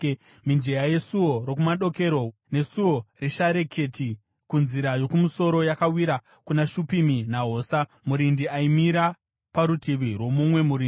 Mijenya yeSuo Rokumadokero neSuo reShareketi kunzira yokumusoro yakawira kuna Shupimi naHosa. Murindi aimira parutivi rwomumwe murindi.